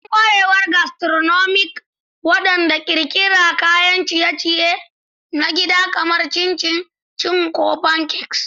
Don ƙwarewar gastronomic, gwada ƙirƙirar kayan ciye-ciye na gida kamar chin chin ko pancakes.